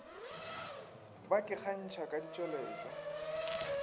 ba ke kgantšha ka ditšweletšwa